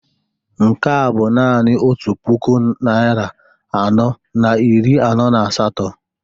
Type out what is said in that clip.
Nke a bụ naanị otu puku naịra anọ na iri anọ na asatọ